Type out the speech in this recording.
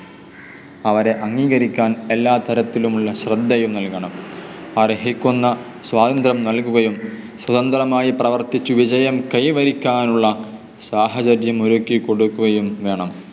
അവരെ അംഗീകരിക്കാൻ എല്ലാതരത്തിലുമുള്ള ശ്രദ്ധയും നൽകണം. അർഹിക്കുന്ന സ്വാതന്ത്ര്യം നൽകുകയും സ്വതന്ത്രമായി പ്രവർത്തിച്ചു വിജയം കൈവരിക്കുവാനുള്ള സാഹചര്യം ഒരുക്കി കൊടുക്കുകയും വേണം.